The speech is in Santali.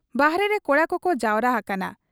ᱵᱟᱦᱨᱮᱨᱮ ᱠᱚᱲᱟ ᱠᱚᱠᱚ ᱡᱟᱣᱨᱟ ᱦᱟᱠᱟᱱᱟ ᱾